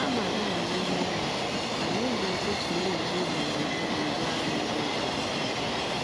Kama ịnọ n'ime ụlọ, anyị ji ụtụtụ na-eje ije na ndagwurugwu ahụ dị jụụ.